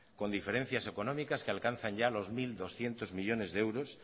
con diferencias económicas que alcanzan ya los mil doscientos millónes de euros